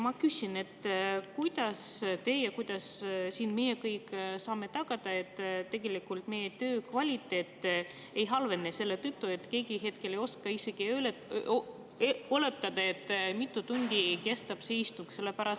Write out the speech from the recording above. Ma küsin: kuidas teie saate ja kuidas meie kõik siin saame tagada selle, et meie töö kvaliteet ei halvene selle tõttu, et keegi hetkel ei oska isegi oletada, mitu tundi kestab istung?